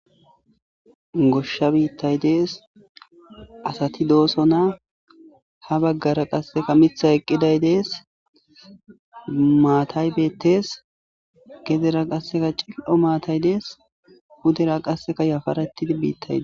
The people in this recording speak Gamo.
Goshsha biitay dees. Asati doosona. Ha bagara qassekka miththay eqqiday dees. Maatay beetees. Gedera qassekka cil'o maatay beetees. pudera qassekka yafaretida biitay dees.